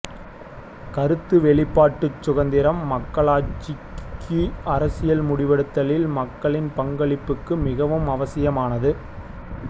கருத்து வெளிப்பாட்டுச் சுதந்திரம் மக்களாட்சிக்கு அரசில் முடிவெடுத்தலில் மக்களின் பங்களிப்புக்கு மிகவும் அவசியமானது